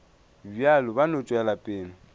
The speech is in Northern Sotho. bjalo ba no tšwela pele